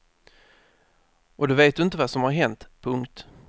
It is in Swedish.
Och då vet du inte vad som har hänt. punkt